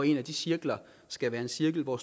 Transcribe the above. en af de cirkler skal være en cirkel hvor